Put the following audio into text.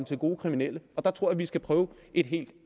til gode kriminelle der tror jeg at vi skal prøve et helt